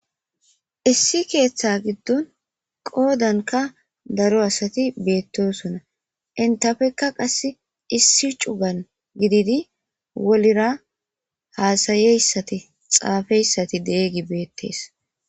Issi keeththa giddon qoodanka daro asati beettosona intafekka qas issi cugan gididi wolira haasayeyssati xaafeyssati deeygi beettees